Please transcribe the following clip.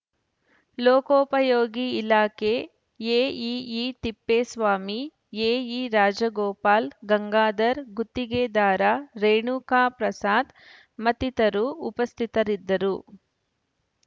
ಲೋಕೋಪಯೋಗಿ ಇಲಾಖೆ AEE Thippeswamy AE Rajagopal Gangadhar ಗುತ್ತಿಗೆದಾರ ರೇಣುಕಾಪ್ರಸಾದ್ ಮತ್ತಿತರರು ಉಪಸ್ಥಿತರಿದ್ದರು